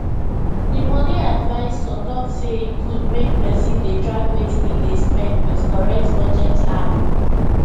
the money advisor talk say e good make person dey track wetin e dey spend with correct budget app